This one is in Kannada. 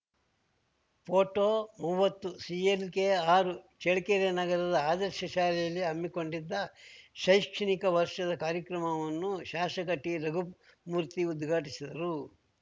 ಪೋಟೋ ಮುವತ್ತುಸಿಎಲ್‌ಕೆಆರು ಚಳ್ಳಕೆರೆ ನಗರದ ಆದರ್ಶ ಶಾಲೆಯಲ್ಲಿ ಹಮ್ಮಿಕೊಂಡಿದ್ದ ಶೈಕ್ಷಣಿಕ ವರ್ಷದ ಕಾರ್ಯಕ್ರಮವನ್ನು ಶಾಸಕ ಟಿರಘುಮೂರ್ತಿ ಉದ್ಘಾಟಿಸಿದರು